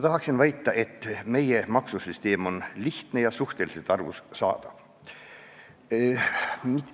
Tahaksin väita, et meie maksusüsteem on lihtne ja suhteliselt arusaadav.